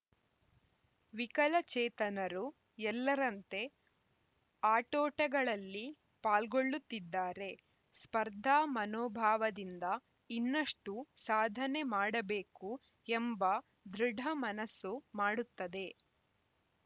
ವಿಕಲಚೇತನರು ಎಲ್ಲರಂತೆ ಆಟೋಟಗಳಲ್ಲಿ ಪಾಲ್ಗೊಳ್ಳುತ್ತಿದ್ದಾರೆ ಸ್ಪರ್ಧಾ ಮನೋಭಾವದಿಂದ ಇನ್ನಷ್ಟುಸಾಧನೆ ಮಾಡಬೇಕು ಎಂಬ ದೃಢಮನಸ್ಸು ಮಾಡುತ್ತದೆ